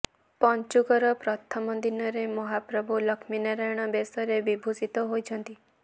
ପଞ୍ଚୁକର ପ୍ରଥମ ଦିନରେ ମହାପ୍ରଭୁ ଲକ୍ଷ୍ମୀନାରାୟଣ ବେଶରେ ବିଭୂଷିତ ହୋଇଛନ୍ତି